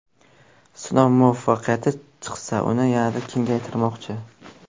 Sinov muvaffaqiyatli chiqsa, uni yanada kengaytirishmoqchi.